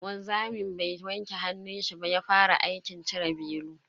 Wanzamin bai wanke hannunshi ba ya fara aikin cire belu.